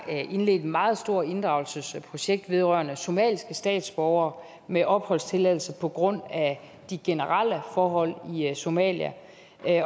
indledt et meget stort inddragelsesprojekt vedrørende somaliske statsborgere med opholdstilladelse på grund af de generelle forhold i somalia